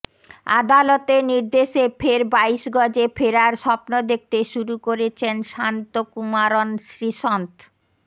আদালতের নির্দেশে ফের বাইশ গজে ফেরার স্বপ্ন দেখতে শুরু করেছেন শান্তকুমারন শ্রীসন্থ